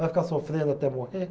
Vai ficar sofrendo até morrer?